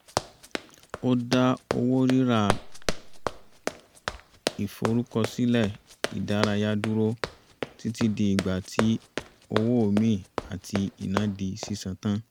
ó dá owó rírà ìforúkọsílẹ̀ ìdárayá dúró títí di ìgbà tí owó omi àti iná di sísan tán